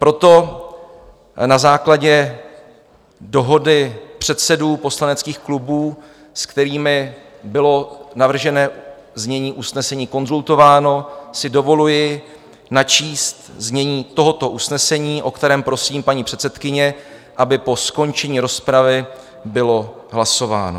Proto na základě dohody předsedů poslaneckých klubů, s kterými bylo navržené znění usnesení konzultováno, si dovoluji načíst znění tohoto usnesení, o kterém prosím, paní předsedkyně, aby po skončení rozpravy bylo hlasováno: